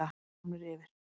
Heimamenn eru komnir yfir